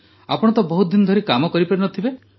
ଆପଣ ତ ବହୁତ ଦିନ ଧରି କାମ କରିପାରି ନ ଥିବେ